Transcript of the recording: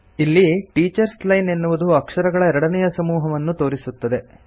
ಇಲ್ಲಿ teachers line ಎನ್ನುವುದು ಅಕ್ಷರಗಳ ಎರಡನೇಯ ಸಮೂಹವನ್ನು ತೋರಿಸುತ್ತದೆ